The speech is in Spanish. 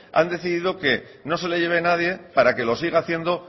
han decidido que no se lo lleve nadie para que lo siga haciendo